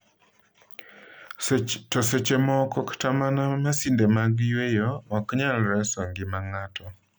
To seche moko kata mana masinde mag yweyo ok nyal reso ngima ng’ato.